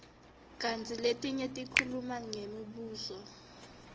kantsi letinye tikhuluma ngemibuso